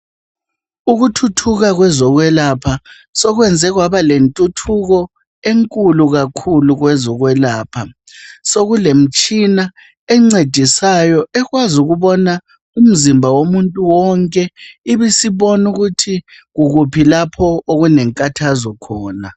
Ukuthuthuka kwezokwelapha sokwenze kwaba lentuthuko enkulu kakhulu kwezokwelapha sokulemtshina encedisayo ekwazi ukubona umzimba womuntu wonke ibisibona ukuthi kukuphi lapho okule nkathazo khona.